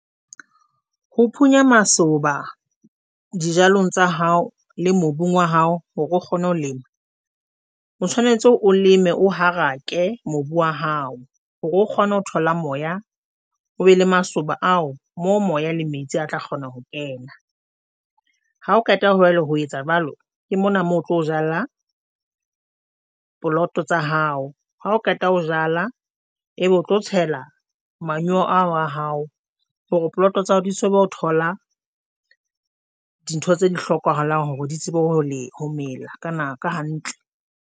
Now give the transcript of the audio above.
Ho phunya masoba dijalong tsa hao le mobung wa hao hore o kgone ho lema, o tshwanetse o leme o harake mobu wa hao hore o kgone ho thola moya o be le masoba ao mo moya le metsi a tla kgona ho kena. Ha o qeta he ho etsa jwalo, ke mona mo tlo jala poloto tsa hao ha o qeta ho jala, e be o tlo tshela manyoo ao a hao hore poloto tsa hao di tsebe ho thola dintho tse di hlokahalang hore di tsebe hore le ho mela ka nako hantle.